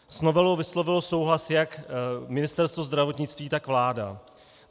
S novelou vyslovilo souhlas jak Ministerstvo zdravotnictví, tak vláda.